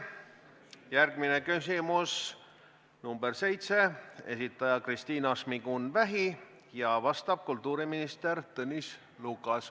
Järgmine küsimus, number 7, esitaja Kristina Šmigun-Vähi ja vastab kultuuriminister Tõnis Lukas.